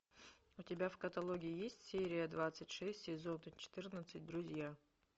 у тебя в каталоге есть серия двадцать шесть сезона четырнадцать друзья